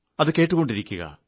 അത് കേട്ടുകൊണ്ടിരിക്കുക